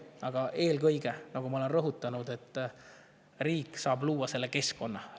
Aga eelkõige, nagu ma olen rõhutanud, saab riik luua keskkonna.